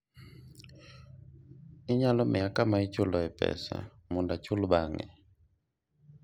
inyalo miya kama ichuloe pesa mondo achul bang'e?